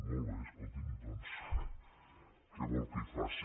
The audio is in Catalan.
molt bé escolti’m doncs què vol que hi faci